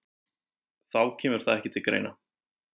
Þá kemur það ekki til greina